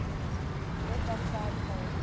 left outside foreign